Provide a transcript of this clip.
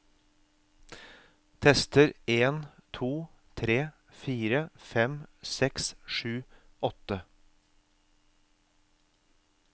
Tester en to tre fire fem seks sju åtte